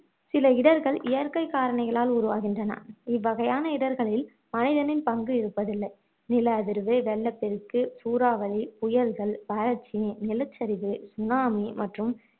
சில இடர்கள் இயற்கை காரணிகளால் உருவாகின்றன இவ்வகையான இடர்களில் மனிதனின் பங்கு இருப்பதில்லை நில அதிர்வு, வெள்ளப்பெருக்கு, சூறாவளி, புயல்கள், வறட்சி, நிலச்சரிவு, tsunami, மற்றும்